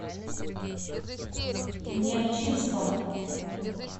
нерчинском